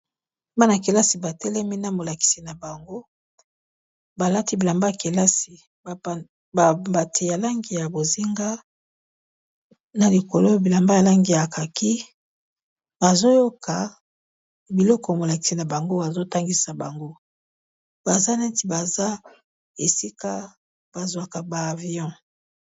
Bana-kelasi ba telemi na molakisi na bango balati bilamba ya kelasi ba mbati ya langi ya bozinga, na likolo bilamba ya langi ya kaki bazo yoka biloko molakisi na bango azo tangisa bango. Baza neti baza esika ba zwaka ba avion.